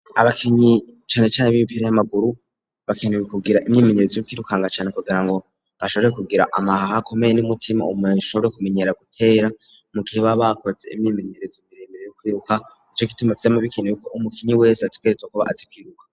abakinyi cane cane b'imipira y'amaguru bakenewe kugira imyimenyerezo yo kwirukanga cane kugira ngo bashobore kugira amahaha akomeye n'umutima ushobore kumenyera gutera, mu gihe babakoze imyimenyerezo iremeye yo kwiruka nico gituma vyama bikenewe ko umukinyi wese ategerezwa kuba azi kwiruka.